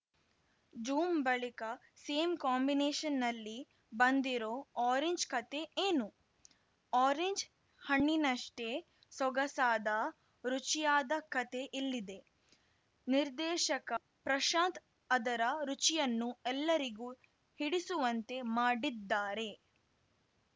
zoom ಬಳಿಕ same ಕಾಂಬಿನೇಷನ್‌ನಲ್ಲಿ ಬಂದಿರೋ ಆರೆಂಜ್‌ ಕತೆ ಏನು ಆರೆಂಜ್‌ ಹಣ್ಣಿನಷ್ಟೇ ಸೊಗಸಾದ ರುಚಿಯಾದ ಕತೆ ಇಲ್ಲಿದೆ ನಿರ್ದೇಶಕ ಪ್ರಶಾಂತ್‌ ಅದರ ರುಚಿಯನ್ನು ಎಲ್ಲರಿಗೂ ಹಿಡಿಸುವಂತೆ ಮಾಡಿದ್ದಾರೆ